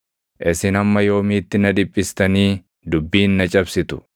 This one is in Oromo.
“Isin hamma yoomiitti na dhiphistanii dubbiin na cabsitu?